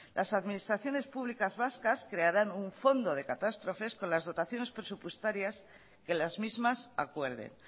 las administraciones públicas vascas crearán un fondo de catástrofes con las dotaciones presupuestarias que las mismas acuerden